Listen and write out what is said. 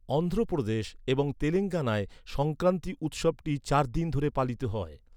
অন্ধ্রপ্রদেশ এবং তেলেঙ্গানায় সংক্রান্তি উৎসবটি চার দিন ধরে পালিত হয়।